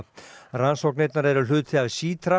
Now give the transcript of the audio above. rannsóknirnar eru hluti af